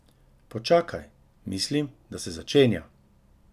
Počakaj, mislim, da se začenja!